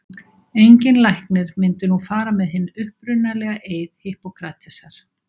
Enginn læknir myndi nú fara með hinn upprunalega eið Hippókratesar.